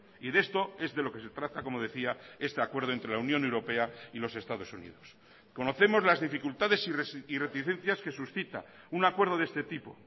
y de esto es de lo que se trata como decía este acuerdo entre la unión europea y los estados unidos conocemos las dificultades y reticencias que suscita un acuerdo de este tipo